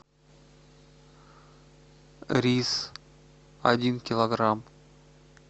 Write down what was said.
рис один килограмм